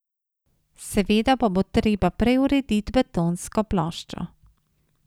Seveda pa bo treba prej urediti betonsko ploščo.